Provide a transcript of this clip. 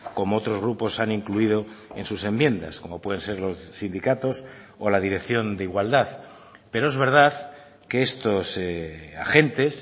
como otros grupos han incluido en sus enmiendas como pueden ser los sindicatos o la dirección de igualdad pero es verdad que estos agentes